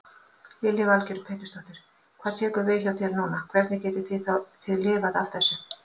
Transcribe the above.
Lillý Valgerður Pétursdóttir: Hvað tekur við hjá ykkur núna, hvernig getið þið lifað af þessu?